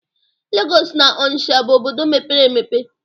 Legọs na Ọnisha bụ obodo mepere emepe.